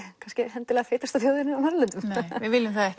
feitasta þjóðin á Norðurlöndum við viljum það